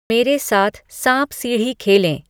मेरे साथ साँप सीढ़ी खेलें